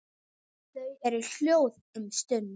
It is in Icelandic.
Þau eru hljóð um stund.